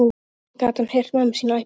Samt gat hann heyrt mömmu sína æpa.